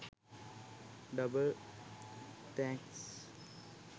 Double thanks.